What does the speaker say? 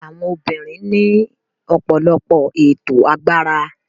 Àwọn obìnrin ní ọ̀pọ̀lọpọ̀ ètò agbára.